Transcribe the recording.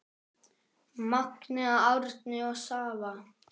Magnea, Árni og Svava.